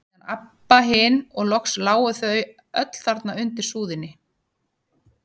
Síðan Abba hin og loks lágu þau öll þarna undir súðinni.